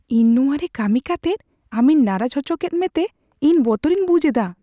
ᱤᱧ ᱱᱚᱣᱟᱨᱮ ᱠᱟᱹᱢᱤ ᱠᱟᱛᱮᱫ ᱟᱢᱤᱧ ᱱᱟᱨᱟᱡ ᱚᱪᱚᱠᱮᱫ ᱢᱮ ᱛᱮ ᱤᱧ ᱵᱚᱛᱚᱨᱤᱧ ᱵᱩᱡᱷ ᱮᱫᱟ ᱾